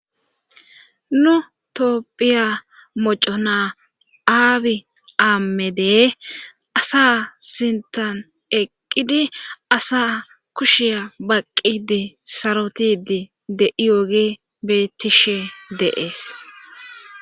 Nu toopphiya moco naa aabi aammedee asa sintan eqqidi asa kushiya baqqidi sarotidi de7iyoogi betishe deees